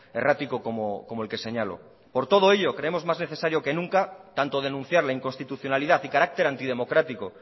errático como el que señalo por todo ello creemos más necesario que nunca tanto denunciar la inconstitucionalidad y carácter antidemocrático